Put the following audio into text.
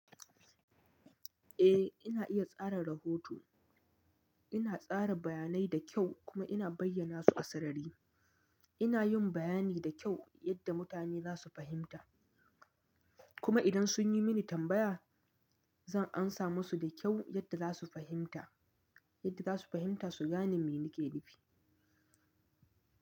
Eh ina iya tsara rahoto. Ina tsara bayanai da kyau kuma ina bayyana su a sarari. Ina yin bayani da kyau yadda mutane za su fahimta. Kuma idan sun yi mini tambaya, zan amsa musu da kyau yadda za su fahimta, yadda za su fahimta su gane me nake nufi.